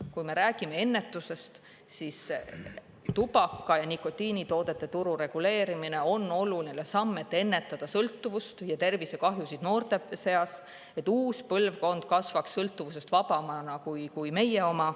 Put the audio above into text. Kui me räägime ennetusest, siis tubaka ja nikotiinitoodete turu reguleerimine on oluline samm, et ennetada sõltuvust ja tervisekahjusid noorte seas, et uus põlvkond kasvaks sõltuvusest vabamana kui meie oma.